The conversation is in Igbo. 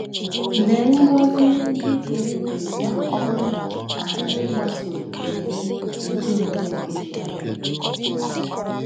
Lee ngọzi ndị dị ebube o nwetara maka ịgbaso iwu ezi omume nke Chineke!